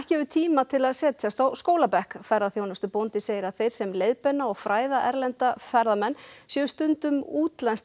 hefur tíma til að setjast á skólabekk ferðaþjónustubóndi segir að þeir sem leiðbeina og fræða erlenda ferðamenn séu stundum útlenskt